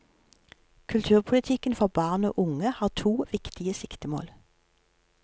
Kulturpolitikken for barn og unge har to viktige siktemål.